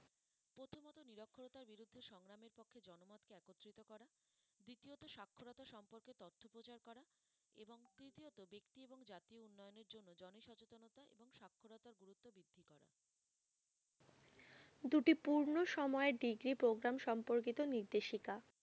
দুটি পূর্ণ সময়ে degree programme সম্পর্কিত নির্দেশিকা।